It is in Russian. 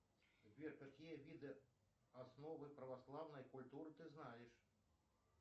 сбер какие виды основы православной культуры ты знаешь